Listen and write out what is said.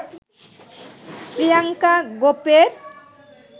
Priyanka গোপের